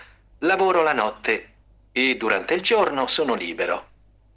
ну ты и дурак до чёрного озера